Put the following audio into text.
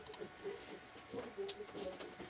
Burda gəzmək lazım deyil.